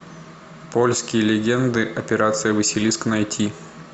польские легенды операция василиск найти